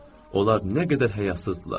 Onlar nə qədər həyasızdırlar.